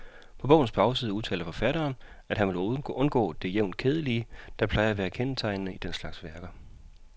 På bogens bagside udtaler forfatteren, at han vil undgå det jævnt kedelige, der plejer at kendetegne den slags værker.